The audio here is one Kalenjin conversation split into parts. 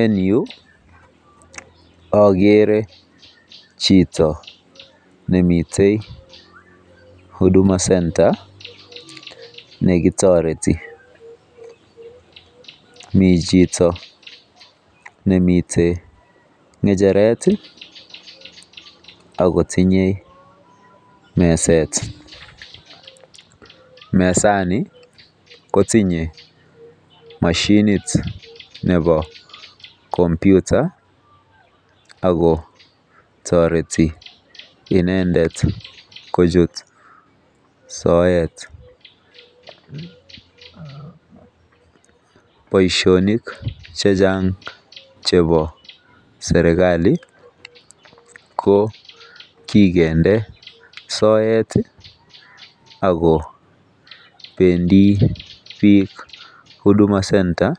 En yuu okere chito nemiten huduma center nekitoreti mii chito nemiten ngecheret tii ak kotinye meset, mesani kotinye moshinit nebo komputer ako toreti inendet kochut soet. Boishonik chechang chebo sirkali ki kikinde soet ako pendii bik huduma center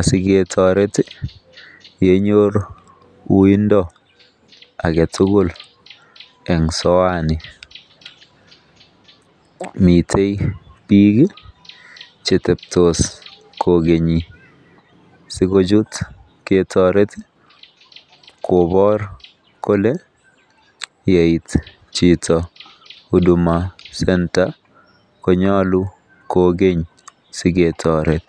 asiketoretyenyor uindo agetutuk en soeani. Mite bik kii cheteptos kokeni sikochut ketoret kobor kole yeit chito huduma center konyolu kokeny siketoret.